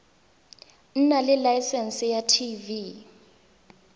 nna le laesense ya tv